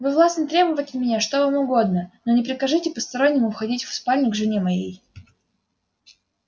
вы властны требовать от меня что вам угодно но не прикажите постороннему входить в спальню к жене моей